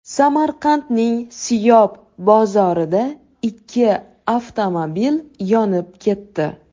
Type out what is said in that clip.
Samarqandning Siyob bozorida ikki avtomobil yonib ketdi.